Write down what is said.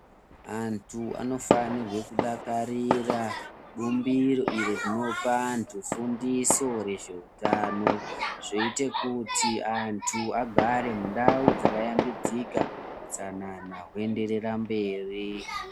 Antu anofanirwe kudakarire bumbiro iro rinopa vantu fundiso rezveutano. Zvoite kuti antu agare ndau dzakahlambidzika, utsanana hwoenderera mberi.